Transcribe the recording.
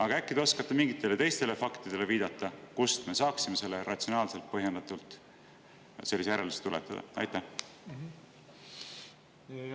Aga äkki te oskate viidata mingitele teistele faktidele, kust me saaksime ratsionaalselt põhjendatult sellise järelduse tuletada?